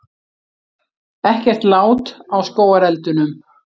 Ekkert lát á skógareldunum